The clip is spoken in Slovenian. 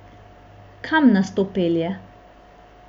Kam nas to pelje?